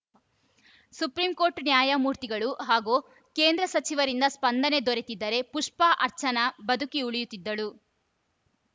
supreme court ನ್ಯಾಯಮೂರ್ತಿಗಳು ಹಾಗೂ ಕೇಂದ್ರ ಸಚಿವರಿಂದ ಸ್ಪಂದನೆ ದೊರೆತಿದ್ದರೆ ಪುಷ್ಪಾ ಅರ್ಚನಾ ಬದುಕಿ ಉಳಿಯುತ್ತಿದ್ದಳು